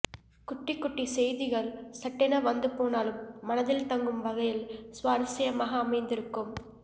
குட்டிக் குட்டிச் செய்திகள் சட்டென வந்து போனாலும் மனதில் தங்கும் வகையில் சுவாரஸ்யமாக அமைந்திருக்கும்